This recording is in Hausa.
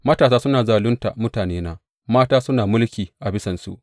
Matasa suna zalunta mutanena, mata suna mulki a bisansu.